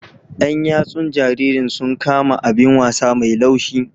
Yan yatsun jaririn sun kama abin wasa mai laushi.